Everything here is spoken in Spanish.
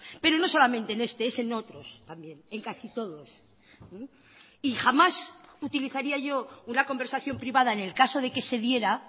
pero no solamente en este es en otros también en casi todos y jamás utilizaría yo una conversación privada en el caso de que se diera